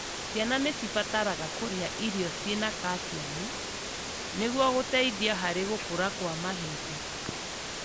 Ciana nĩ cibataraga kũria irio cĩna calciamu niguo gũteithia harĩ gũkũra kwa mahĩndĩ.